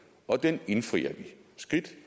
og den indfrier vi skridt